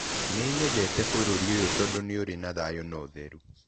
Nĩ nyendete bũrũri ũyũ tondũ nĩ ũrĩ na thayũ na ũtheru.